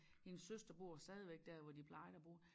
Hendes søster bor stadigvæk dér hvor de plejede at bo